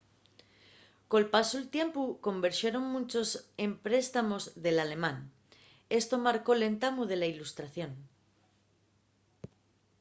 col pasu del tiempu converxeron munchos empréstamos del alemán esto marcó l'entamu de la illustración